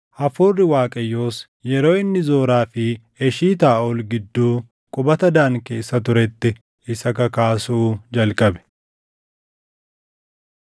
Hafuurri Waaqayyoos yeroo inni Zoraa fi Eshitaaʼol gidduu qubata Daan keessa turetti isa kakaasu jalqabe.